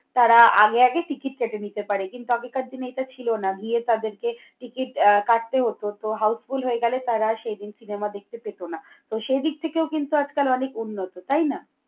তারা আগে আগে ticket কেটে নিতে পারে কিন্তু আগেকার দিনে এটা ছিল না। গিয়ে তাদেরকে ticket আহ কাটতে হতো। তো, houseful হয়ে গেলে তারা সেই দিন cinema দেখতে পেত না। তো, সে দিক থেকেও কিন্তু আজকাল অনেক উন্নত তাই না?